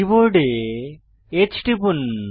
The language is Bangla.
কীবোর্ডে H টিপুন